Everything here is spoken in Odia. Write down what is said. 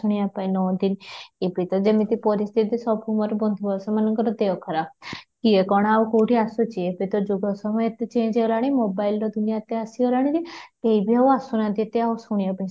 ଶୁଣିବା ପାଇଁ ନିଅନ୍ତି ଏବେ ତ ମୋର ପରିସ୍ଥିତି ସବୁ ମୋର ବନ୍ଧୁ ସେମାନଙ୍କର ଦେହ ଖରାପ, କିଏ କ'ଣ ଆଉ କଉଠି ଆସୁଛି ଏବେ ତ ଯୁଗ ସମୟ ତ change ହେଲାଣି mobile ର ଦୁନିଆଁ ତ ଆସିଗଲାଣି କେହି ବି ଆଉ ଆସୁ ନାହାନ୍ତି ଏତେ ଶୁଣିବା ପାଇଁ